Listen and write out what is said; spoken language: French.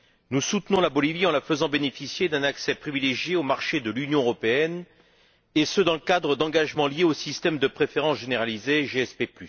Nous soutenons la Bolivie en la faisant bénéficier d'un accès privilégié au marché de l'Union européenne et ce dans le cadre d'engagements liés au système de préférences généralisées SPG.